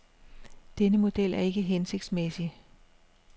Denne model er ikke hensigtsmæssig.